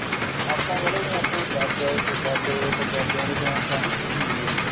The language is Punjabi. ਆਪਾਂ ਕਹਿ ਲੋ ਜਿਵੇਂ ਆਪਣੇ ਦਾਦੇ ਪੜਦਾਦਿਆਂ ਦੇ time ਤਾਂ ਨਹੀਂ ਸੀ ਹੁੰਦੀ ਇਹ